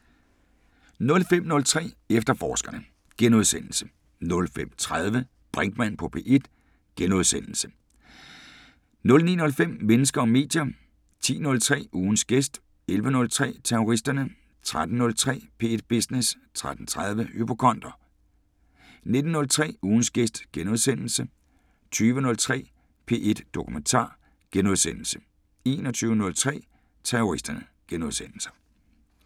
05:03: Efterforskerne * 05:30: Brinkmann på P1 * 09:05: Mennesker og medier 10:03: Ugens gæst 11:03: Terroristerne 13:03: P1 Business 13:30: Hypokonder 19:03: Ugens gæst * 20:03: P1 Dokumentar * 21:03: Terroristerne *